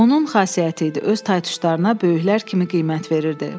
Onun xasiyyəti idi öz taytuşlarına böyüklər kimi qiymət verirdi.